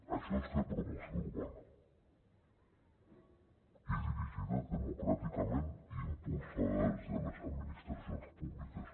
això és fer promoció urbana i dirigida democràticament i impulsada des de les administracions públiques